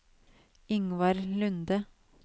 Yngvar Lunde